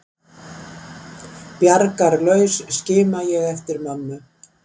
Bjargarlaus skima ég eftir mömmu.